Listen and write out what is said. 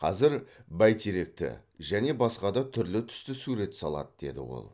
қазір бәйтеректі және басқа да түрлі түсті суреттер салады деді ол